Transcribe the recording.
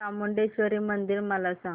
चामुंडेश्वरी मंदिर मला सांग